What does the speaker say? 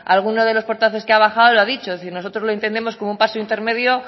algunos de los portavoces que han bajado lo ha dicho es decir nosotros lo entendemos como un pacto intermedio